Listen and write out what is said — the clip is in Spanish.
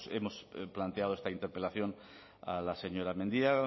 hemos planteado esta interpelación a la señora mendia